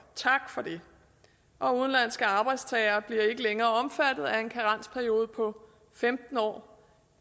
tak for det og udenlandske arbejdstagere bliver ikke længere omfattet af en karensperiode på femten år